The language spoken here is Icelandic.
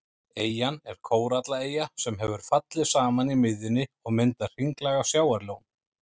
Eyjan er kórallaeyja sem hefur fallið saman í miðjunni og myndað hringlaga sjávarlón.